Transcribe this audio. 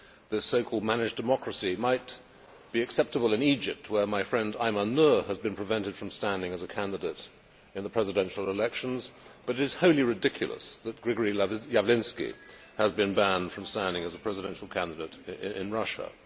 This so called managed democracy' might be acceptable in Egypt, where my friend Ayman Nour has been prevented from standing as a candidate in the presidential elections, but it is wholly ridiculous that Grigory Yavlinsky has been banned from standing as a presidential candidate in Russia.